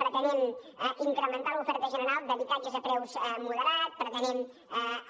pretenem incrementar l’oferta general d’habitatges a preus moderats pretenem